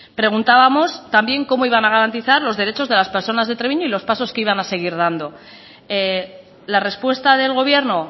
preguntábamos también cómo iban a garantizar los derechos de las personas de treviño y los pasos que iban a seguir dando la respuesta del gobierno